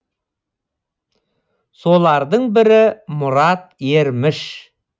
солардың бірі мұрат ерміш